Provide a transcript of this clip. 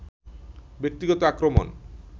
ব্যক্তিগত আক্রমণ